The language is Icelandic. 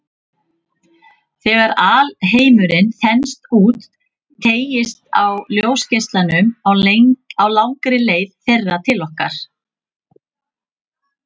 Þegar alheimurinn þenst út, teygist á ljósgeislunum á langri leið þeirra til okkar.